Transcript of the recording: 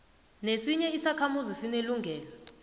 nesinye isakhamuzi sinelungelo